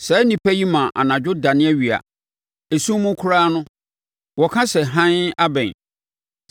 Saa nnipa yi ma anadwo dane awia; esum mu koraa no, wɔka sɛ, ‘Hann abɛn,’